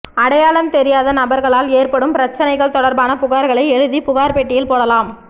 அடையாளம் தெரியாத நபா்களால் ஏற்படும் பிரச்சனைகள் தொடா்பான புகாா்களை எழுதி புகாா் பெட்டியில் போடலாம்